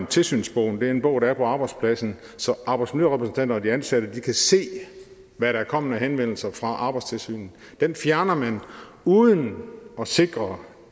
tilsynsbogen det er en bog der er på arbejdspladsen så arbejdsmiljørepræsentanter og de ansatte kan se hvad der er kommet af henvendelser fra arbejdstilsynet den fjerner man uden at sikre